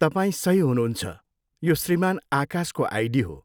तपाईँ सही हुनुहुन्छ, यो श्रीमान आकाशको आइडी हो।